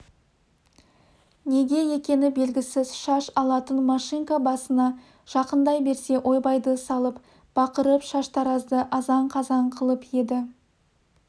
неге екені белгісіз шаш алатын машинка басына жақындай берсе ойбайды салып бақырып шаштаразды азан қазан қылып еді